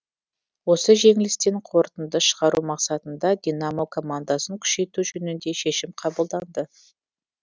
осы жеңілістен қорытынды шығару мақсатында динамо командасын күшейту жөнінде шешім қабылданды